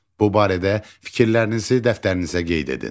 Bu barədə fikirlərinizi dəftərinizə qeyd edin.